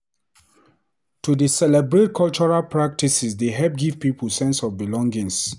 To dey celebrate cultural practices dey help give pipo sense of belonging.